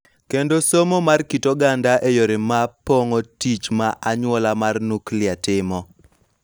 Kendo somo mar kit oganda e yore ma pong�o tich ma anyuola mar nuklia timo.